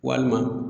Walima